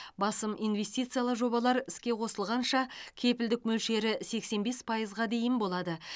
басым инвестициялық жобалар іске қосылғанша кепілдік мөлшері сексен бес пайызға дейін болады